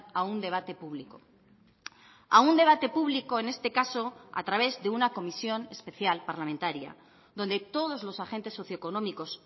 a un debate público a un debate público en este caso a través de una comisión especial parlamentaria donde todos los agentes socioeconómicos